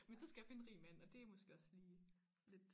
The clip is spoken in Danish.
Men så skal jeg finde en rig mand og det måske også lige lidt